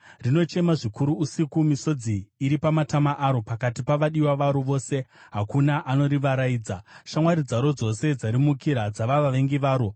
Rinochema zvikuru usiku, misodzi iri pamatama aro. Pakati pavadiwa varo vose hakuna anorivaraidza. Shamwari dzaro dzose dzarimukira; dzava vavengi varo.